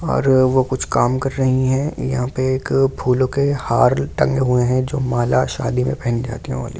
और वो कुछ काम कर रही है यहां पर पे एक फूलों के हार टंगे हुए हैं जो माल शादी में पहन जाती हैं ।